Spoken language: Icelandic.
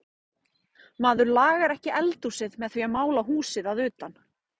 Maður lagar ekki eldhúsið með því að mála húsið að utan.